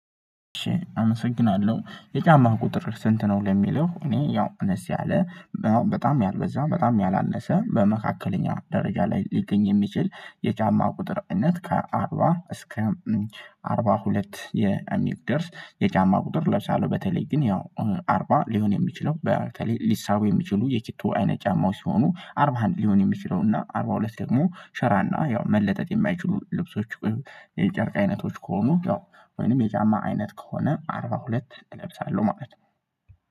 አመሰግናለሁ የጫማህ ቁጥር ስንት ነው? ለሚለው እኔ ያው እንስ ያለ በጣም ያልበዛ በጣም ያላነሰ በመካከለኛ ደረጃ ላይ ሊገኝ የሚችል የጫማ ቁጥር እነት ከአርባ እስከ አርባ ሁለት የሚደርስ የጫማ ቁጥር ለብሳለው። በተለይ ግን ያው አርባ ሊሆን የሚችለው በተለይ ሊሳቡ የሚችሉ የቺቶ አይነት ጫማዎች ሲሆኑ አርባ ሃንድ ሊሆን የሚችለው እና አርባ ሁለት ደግሞ ሸራ እና ያው መለጠጥ የማይችሉ ልብሶች የጨርቅ አይነቶች ከሆኑ ያው ወይንም የጫማ አይነት ከሆነ አርባ ሁለት እለብሳለሁ ማለት ነው።